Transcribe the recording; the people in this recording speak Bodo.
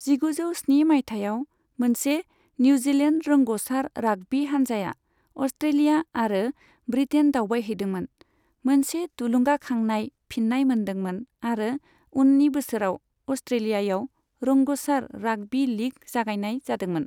जिगुजौ स्नि मायथायाव, मोनसे निउजिलेन्ड रोंग'सार राग्बी हानजाया अस्ट्रेलिया आरो ब्रिटेन दावबायहैदोंमोन, मोनसे थुलुंगाखांनाय फिन्नाय मोनदोंमोन आरो उन्नि बोसोराव अस्ट्रेलियायाव रोंग'सार राग्बी लीग जागायनाय जादोंमोन।